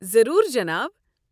ضروٗر، جناب ۔